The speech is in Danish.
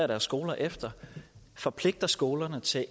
deres skoler efter forpligter skolerne til at